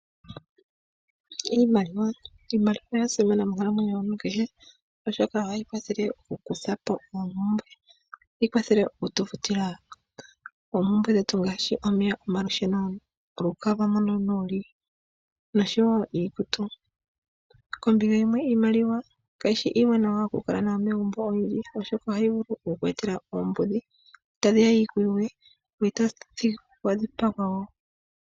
Iimaliwa oya simana monkalamwenyo yomuntu kehe oshoka ohayi kwathele oku kutha po oompumbwe, ohayi kwathele okufuta oompumbwe ngaashi omeya, olusheno, olukalwa mpoka wuli noshowo iikutu. Kombinga yimwe iimaliwa kayishi iiwanawa oku kala nayo megumbo oshoka otayi vulu oku kweetela oombudhi tadhiya dhikuyuge, noto vulu okukanithila po omwenyo goye.